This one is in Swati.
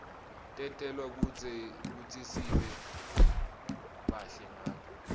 tentelwe kutsisibe bahle ngato